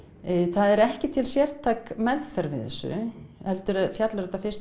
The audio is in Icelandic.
það er ekki til sértæk meðferð við þessu heldur fjallar þetta fyrst